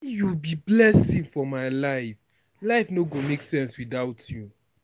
you be for my life, life no go make sense without you.